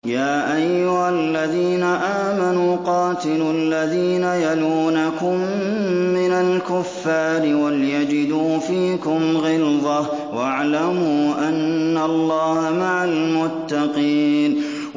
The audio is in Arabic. يَا أَيُّهَا الَّذِينَ آمَنُوا قَاتِلُوا الَّذِينَ يَلُونَكُم مِّنَ الْكُفَّارِ وَلْيَجِدُوا فِيكُمْ غِلْظَةً ۚ وَاعْلَمُوا أَنَّ اللَّهَ مَعَ الْمُتَّقِينَ